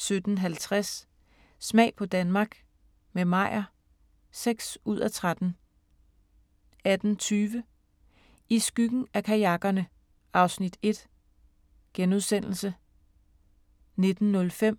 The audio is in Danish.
17:50: Smag på Danmark – med Meyer (6:13) 18:20: I skyggen af kajakkerne (Afs. 1)* 19:05: